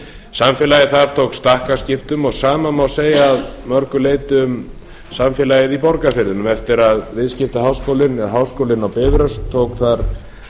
samfélagið þar tók stakkaskiptum og sama má segja að mörgu leyti um samfélagið í borgarfirðinum eftir að viðskiptaháskólinn eða háskólinn á bifröst tók